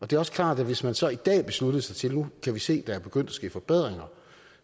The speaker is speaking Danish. det er også klart at hvis man så i dag besluttede sig til at nu kan vi se at der er begyndt at ske forbedringer